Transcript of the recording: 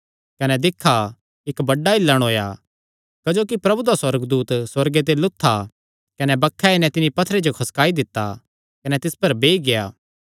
कने दिक्खा इक्क बड्डा हिल्लण होएया क्जोकि प्रभु दा सुअर्गदूत सुअर्गे ते लुत्था कने बक्खे आई नैं तिन्नी पत्थरे जो खसकाई दित्ता कने तिस पर बेई गेआ